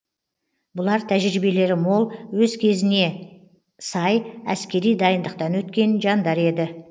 бұлар тәжібиелері мол өз кезіне сай әскери дайындықтан өткен жандар еді